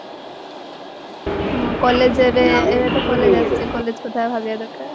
ହଁ college ଏବେ ଏବେ ତ college ଆସୁଚି college କଥା ଭାବିବା ଦରକାର